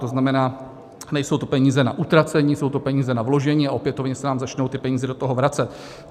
To znamená, nejsou to peníze na utracení, jsou to peníze na vložení a opětovně se nám začnou ty peníze do toho vracet.